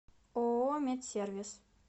ооо медсервис